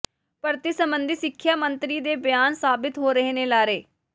ਭਰਤੀ ਸਬੰਧੀ ਸਿੱਖਿਆ ਮੰਤਰੀ ਦੇ ਬਿਆਨ ਸਾਬਿਤ ਹੋ ਰਹੇ ਨੇ ਲਾਰੇ